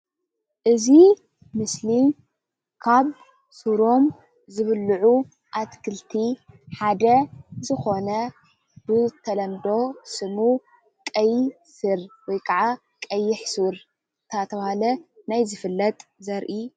እዚ ምስሊ ካብ ስሮም ዝብልዑ አትክልቲ ሓደ ዝኮነ ብተለምዶ ስሙ ቀይ ሱርወይ ካዓ ቀይሕ ሱር እናተባህለ ናይ ዝፈለጥ ዘርኢ እዩ፡፡